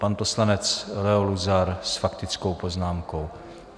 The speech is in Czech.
Pan poslanec Leo Luzar s faktickou poznámkou.